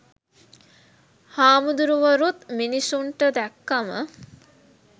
හාමුදුරුවරුත් මිනිස්සුන්ට දැක්කම